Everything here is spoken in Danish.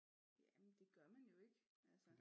Ja men det gør man jo ikke altså